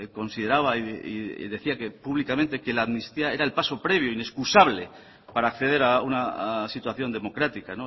consideraba y decía públicamente que la amnistía es era el paso previo inexcusable para acceder a una situación democrática